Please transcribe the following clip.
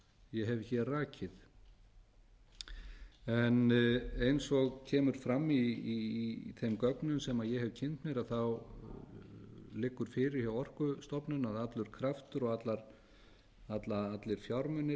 ég hef hér rakið eins og kemur fram í þeim gögnum sem ég hef kynnt mér liggur fyrir hjá orkustofnun að allur kraftur og allir fjármunir